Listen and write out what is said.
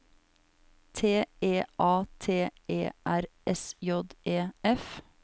T E A T E R S J E F